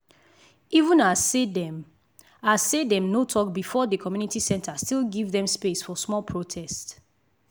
even as say dem as say dem no talk before the community center still give them space for small protest.